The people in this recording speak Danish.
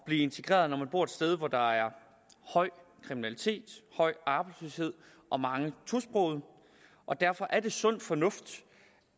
blive integreret når man bor et sted hvor der er høj kriminalitet høj arbejdsløshed og mange tosprogede og derfor er det sund fornuft